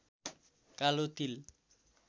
कालो तिल